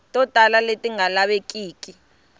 to tala leti nga lavekiki